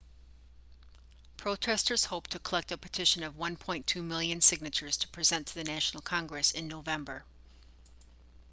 protesters hope to collect a petition of 1.2 million signatures to present to the national congress in november